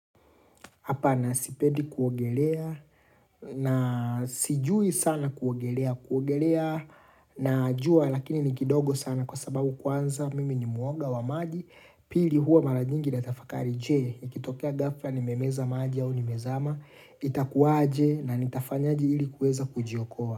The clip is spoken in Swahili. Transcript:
Hapana sipendi kuogelea, na sijui sana kuogelea, kuogelea najua lakini ni kidogo sana, kwa sababu kwanza mimi ni muoga wa maji pili, huwa mara nyingi natafakari je, nikitokea gafla nimemeza maji au nimezama itakuaje, na nitafanyaje ili kuweza kujiokoa?.